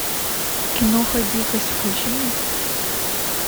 киноха дикость включи мне